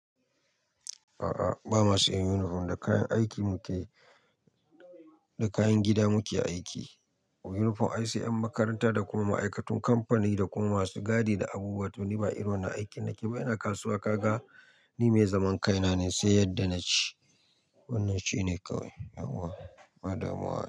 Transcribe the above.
A'a, ba mu sa yin uniform da kayan aiki muke, Da kayan gida muke aiki. Uniform ai sai 'yan makaranta da kuma ma'aikatan kamfani da kuma masu gadi da abubuwa. To ni ba irin wannan aikin nake ba. Ina kasuwa kaga, ni mai zaman kaina ne sai yadda na ci. Wannan shine kawai.